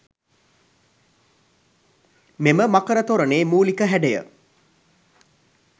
මෙම මකර තොරණේ මූලික හැඩය